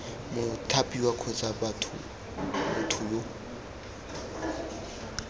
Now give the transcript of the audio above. mothapiwa kgotsa b motho yo